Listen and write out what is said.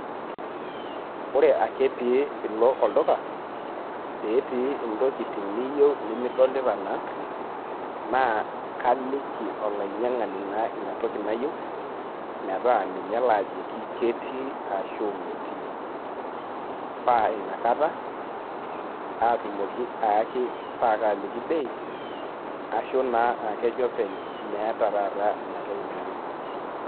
Ore ake pee ilo olduka, petii intokiting' niyieu nimidolita naa, na kaliki olainyang'ani naa inatoki nayieu, metaa ninye lajoki ketii arashu metii. Pa inakata, atumoki aaki pa kaliki bei, ashu naa aakejo openy meeta taata inatoki nayieu.